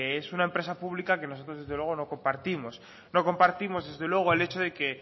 es una empresa pública que nosotros desde luego no compartimos no compartimos desde luego el hecho de que